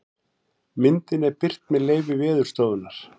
Myndin er birt með leyfi Veðurstofunnar.